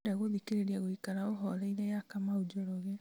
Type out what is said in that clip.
ndĩrenda gũthikĩrĩria gũikara ũhoreire ya kamau njoroge